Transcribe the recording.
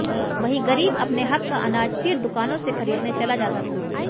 वही गरीब अपने हक का अनाज फिर दुकानों से खरीदने चला जाता था